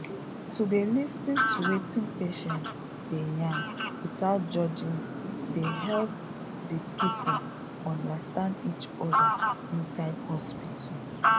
to dey lis ten to wetin patient dey yarn without judging dey help di people understand each other inside hospital